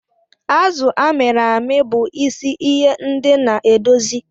Azụ a mịrị amị bụ isi iye ndi na-edozi.